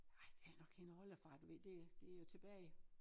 Ej det nok en oldefar du ved det det jo tilbage